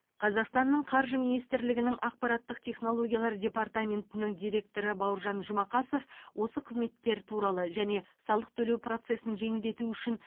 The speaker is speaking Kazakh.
қазақстанның қаржы минситрлігінің ақпараттық технологиялар департаментінің директоры бауыржан жұмакасов осы қызметтер туралы және салық төлеу процесін жеңілдету үшін